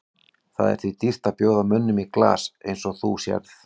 Það er því dýrt að bjóða mönnum í glas eins og þú sérð.